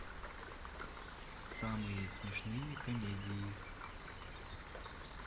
самые смешные комедии